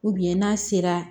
n'a sera